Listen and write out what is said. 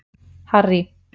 Harry